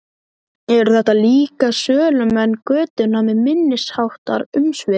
Eru þetta líka sölumenn götunnar með minniháttar umsvif?